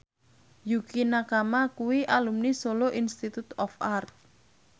Yukie Nakama kuwi alumni Solo Institute of Art